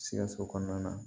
Sikaso kɔnɔna na